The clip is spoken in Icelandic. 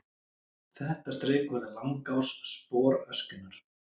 Þetta strik verður langás sporöskjunnar.